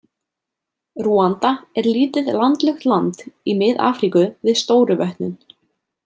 Rúanda er lítið landlukt land í Mið-Afríku við Stóru vötnin.